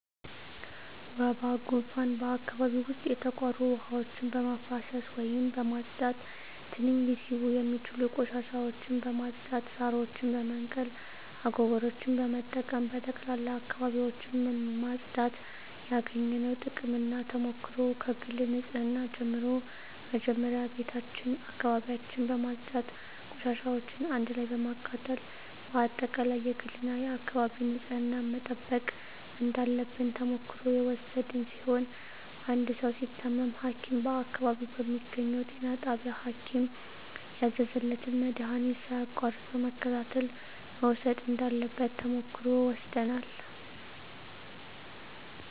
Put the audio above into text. ወባ ጉንፋን በአካባቢው ዉስጥ የተቋሩ ዉሀዎችን በማፋሰስ ወይም በማፅዳት ትንኝ ሊስቡ የሚችሉ ቆሻሻዎችን በማፅዳት ሳሮችን በመንቀል አጎበሮችን በመጠቀም በጠቅላላ አካባቢዎችን ማፅዳት ያገኘነዉ ጥቅምና ተሞክሮ ከግል ንፅህና ጀምሮ መጀመሪያ ቤታችን አካባቢያችን በማፅዳት ቆሻሻዎችን አንድ ላይ በማቃጠል በአጠቃላይ የግልና የአካባቢ ንፅህናን መጠበቅ እንዳለብን ተሞክሮ የወሰድን ሲሆን አንድ ሰዉ ሲታመም ሀኪም በአካባቢው በሚገኘዉ ጤና ጣቢያ ሀኪም ያዘዘለትን መድሀኒት ሳያቋርጥ በመከታተል መዉሰድ እንዳለበት ተሞክሮ ወስደናል